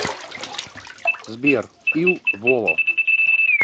сбер ил воло